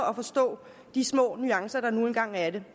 og forstå de små nuancer der nu engang er i det